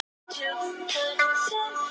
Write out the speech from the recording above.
Góð sala í dýrari bitunum